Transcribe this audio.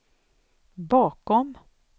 bakom